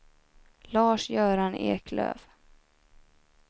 Lars-Göran Eklöf